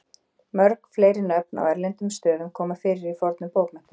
mörg fleiri nöfn á erlendum stöðum koma fyrir í fornum bókmenntum